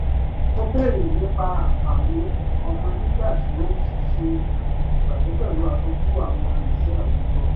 ó bèrè nípa àǹfààní ọmọ nígbà tí ó ṣe ìpàdé pẹ̀lú aṣojú àwọn iṣẹ́ àwùjọ